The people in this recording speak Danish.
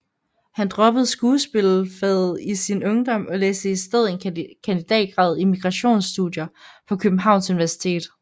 Han droppede skuespilfaget i sin ungdom og læste i stedet en kandidatgrad i migrationsstudier på Københavns Universitet